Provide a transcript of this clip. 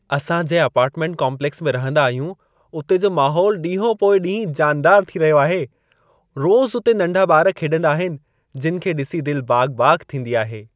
असां जंहिं apartment complex में रहंदा आहियूं, उते जो माहौल ॾींहो पोइ ॾींहुं जानदार थी रहियो आहे। रोज़ उते नंढा ॿार खेॾंदा आहिनि, जिनि खे ॾिसी दिलि बाग़-बाग़ थींदी आहे।